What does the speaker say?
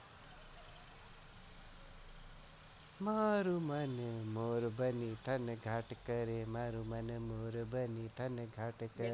મારુ મન મોર બની થાનઘાટ કરે. મારું મન મોરબાની થાન ગાટ કરે.